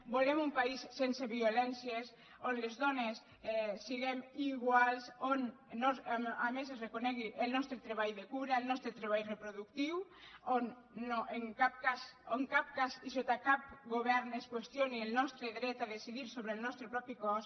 volem un país sense violències on les dones siguem iguals on a més es reconegui el nostre treball de cura el nostres treball reproductiu on en cap cas i sota cap govern no es qüestioni el nostre dret a decidir sobre el nostre propi cos